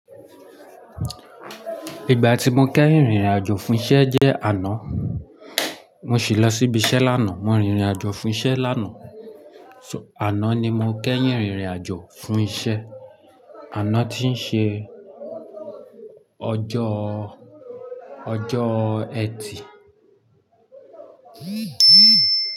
Ìgbà tí mo kẹ́yìn rìnrìn àjò fún isẹ́ jẹ́ àná, mo sì lọ síbi isẹ́ lánàá. Mo rìnrìn àjò fún isẹ́ lánàá, àná ni mo kẹ́yìn rìnrìn àjò fún isẹ́, àná tí ń ṣe ọjọ́, ọjọ́ Ẹtì.